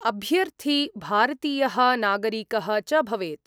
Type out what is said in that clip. अभ्यर्थी भारतीयः नागरिकः च भवेत्।